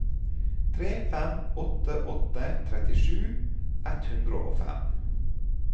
tre fem åtte åtte trettisju ett hundre og fem